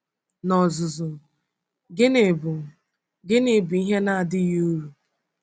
N’ozuzu, gịnị bụ gịnị bụ ihe na-adịghị uru?